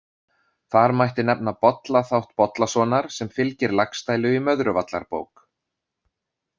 Þar mætti nefna Bolla þátt Bollasonar sem fylgir Laxdælu í Möðruvallarbók.